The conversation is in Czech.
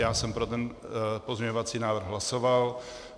Já jsem pro ten pozměňovací návrh hlasoval.